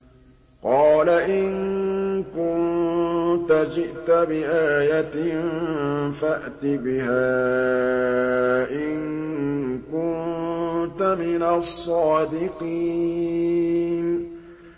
قَالَ إِن كُنتَ جِئْتَ بِآيَةٍ فَأْتِ بِهَا إِن كُنتَ مِنَ الصَّادِقِينَ